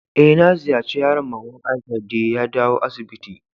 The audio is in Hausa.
Eh, na ziyace yaron mama'n Aisha de ya dawo asibiti.